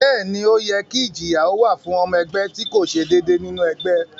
Bẹ́ẹ̀ ni, ó yẹ kí ìjìyà ó wà fún ọmọ ẹgbẹ́ tí kò ṣe déédéé nínú ẹgbẹ́